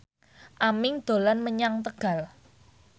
Aming dolan menyang Tegal